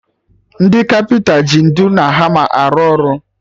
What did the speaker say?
Ndị kapịnta ji ntụ na hama arụ ọrụ